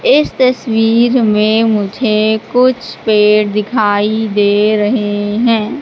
इस तस्वीर में मुझे कुछ पेड़ दिखाई दे रहे हैं।